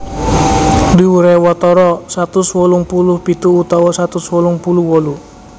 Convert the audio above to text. Dhuwuré watara satus wolung puluh pitu utawa satus wolung puluh wolu